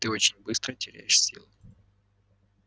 ты очень быстро теряешь силы